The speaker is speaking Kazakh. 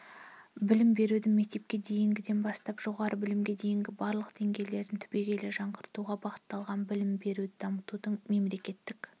білім берудің мектепке дейінгіден бастап жоғары білімге дейінгі барлық деңгейлерін түбегейлі жаңғыртуға бағытталған білім беруді дамытудың мемлекеттік